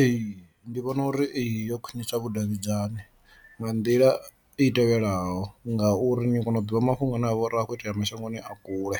Ee, ndi vhona uri ee yo khwinisa vhudavhidzani nga nḓila i tevhelaho ngauri ni a kona u ḓivha mafhungo ane avha uri a khou itea mashangoni a kule